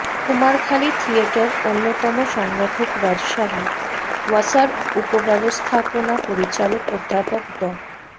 Kumarkhali theatre অন্যতম সংগঠক রাজশাহী ওয়াসার উপব্যবস্থাপনা পরিচালক অধ্যাপক ড